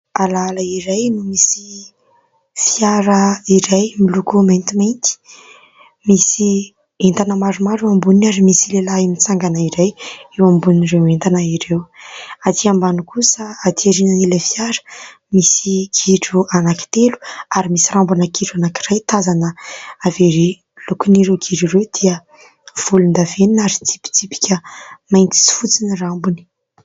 Alaala iray misy fiara iray miloko mainty misy entana maromaro eo amboniny ary misy lehilahy mitsangana iray eo ambonin'ireo entana ireo. Atỳ ambany kosa aty aorian'ilay fiara misy gidro anankitelo ary misy rambon'ilay gidro anankiray tazana avy ery. Ny lokon'ireo gidro ireo dia volondavenona ary tsy mitsipitsipika mainty sy fotsy ny rambony.